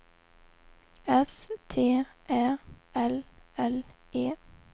S T Ä L L E